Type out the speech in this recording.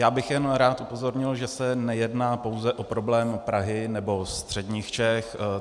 Já bych jen rád upozornil, že se nejedná pouze o problém Prahy nebo středních Čech.